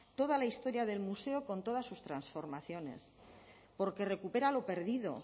toda la historia del museo con todas sus transformaciones porque recupera lo perdido